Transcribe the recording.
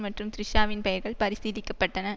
மற்றும் த்ரிஷாவின் பெயர்கள் பரிசீலிக்கப்பட்டன